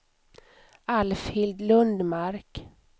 Alfhild Lundmark